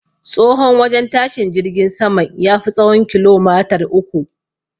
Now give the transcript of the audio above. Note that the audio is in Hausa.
Tsahon wajen tashin jirgin saman, ya fi tsahon kilomater uku